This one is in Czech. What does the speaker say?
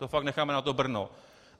To fakt necháme na to Brno.